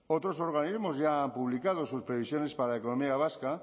otros organismos ya han publicado sus previsiones para la economía vasca